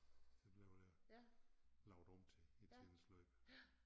Det blev det lavet om til i tidens løb